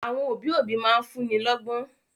Àwọn òbí òbí máa ń fún'ni lọ́gbọ́n